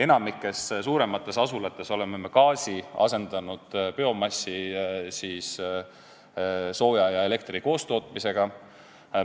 Enamikus suuremates asulates oleme gaasi asendanud biomassist sooja ja elektri koostootmisega.